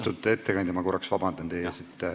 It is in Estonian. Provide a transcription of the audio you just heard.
Austatud ettekandja, ma palun korraks vabandust!